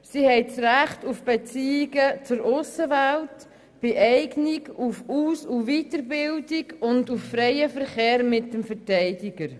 Sie haben ein Recht auf Beziehungen zur Aussenwelt, bei Eignung haben sie das Recht auf Aus- und Weiterbildung und auf freien Verkehr mit dem Verteidiger.